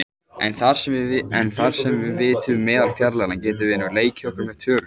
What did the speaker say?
En þar sem við vitum meðalfjarlægðina getum við nú leikið okkur með tölur.